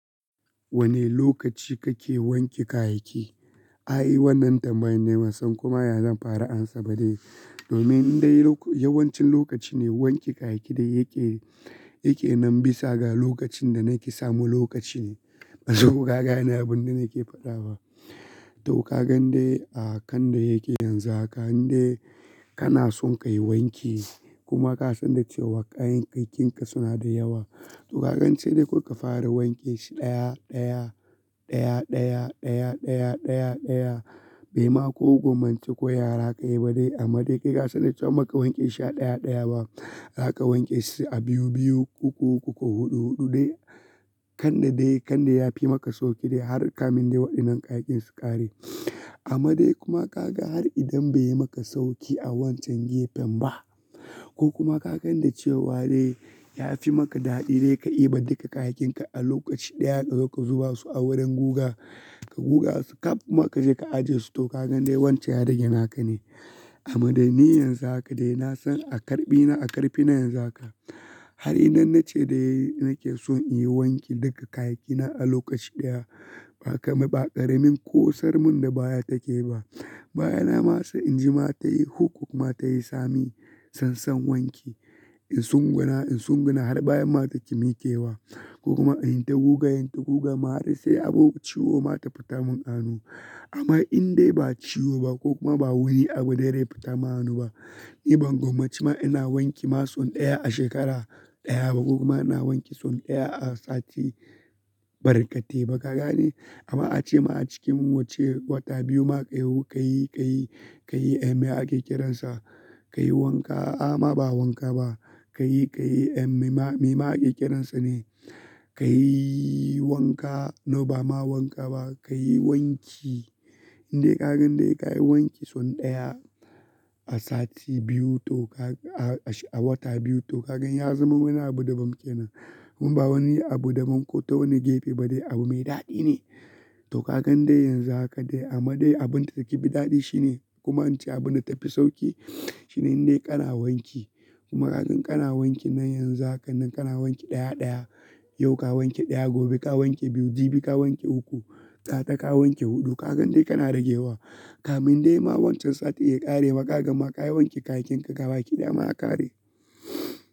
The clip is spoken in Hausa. Wane lokaci kake wanke kayaki? Ai wannan tambayi ne ban san koma ya zan fara amsa ba ne. Domin dai yawancin lokaci ne wanke kayaki dai yake, yake nan bisa ga lokacin da nake samu lokaci ne. Ban san koka gane abun da nake faɗa ba. To ka gan dai a kan da yake yanzu haka in dai kana son ka yi wanki kuma ka san da cewa kayayyakinka suna da yawa. To ka gani sai dai ko ka fara wanke shi ɗaya, ɗaya, ɗaya, ɗaya, ɗaya, ɗaya, ɗaya, ɗaya. Bai ma ko gwammaci ko yaya zaka yi ba dai amma dai kai san da cewa inbaka wanke shi a ɗaya ɗaya ba. Za ka wanke shi a biyu, biyu, uku, uku ko huɗu, huɗu dai. Kan da dai, kan da ya fi maka sauƙi dai har kamin dai waɗannan kayakin su ƙare. Amma dai kuma ka ga har idan bai yi maka sauƙi a wancan gefen ba ko kuma ka gan da cewa dai ya fi maka daɗi dai ka yi ba duka kayakin ka a lokaci ɗaya ka zo ka zuba su a wurin guga, ka guga su kaf kuma ka je ka ajiye su. To ka gan dai wancen ya rage naka ne. Amma dai ni yanzu haka dai na san a ƙarɓi na, a ƙarfi na yanzu haka. Har idan na ce dai nake so in yi wanki duka kayaki na a lokaci ɗaya. Ba kama, ba ƙaramin ko sarmin da baya take ba. Baya na ma sai in ji ma tayi hukuk kuma ta yi tsami. San, san wanke. In sun guna, in sun guna har baya ma ta ki mikewa, ko kuma inyi ta guga, inyi ta guga ma har sai abu ciwo ma ta fitar mun a hannu. Amma in dai ba ciwo ba, ko kuma ba wani abu dai ya fita ma hannu ba. Ni ban gwammaci ma ina wanki ma son ɗaya a shekara ɗaya ba ko kuma ina wanke son ɗaya a sati barkate ba kaga ne? Amma ace ma a cikin wacce wata biyu ma ka yi, ka yi, ka yi, ka yi. Me aƙe ƙerensa. Ka yi wanka, a amma ba wanka ba. Ka yi, ka yi, mai ma, mai ma a ƙeƙerensa ne. Ka yi wanka, no ba ma wanka ba. Ka yi wanki. In dai ka gan dai ka yi wanki son ɗaya a sati biyu to ka, a wata biyu to ka gan ya zama wani abu da ban ke nan. In ba wani abu da mun ko ta wani gefe ba dai abu mai daɗi ne. To ka gan dai yanzu haka dai amma dai abin da zai yi fi daɗi shi ne gwammaci abin da ta fi sauƙi. Shi ne in dai kana wanki kuma ka gan kana wankin nan yanzu hakan nan kana wanki ɗaya, ɗaya. Yau ka wanke ɗaya, gobe ka wanke biyu, jibi ka wanke uku, gata ka wanke huɗu. Ka gan dai kana ragewa. Kamun dai ma wancan sati ya ƙare ma ka gamma ka yi wanke kayakin ka gaba ki ɗaya ma a ƙare.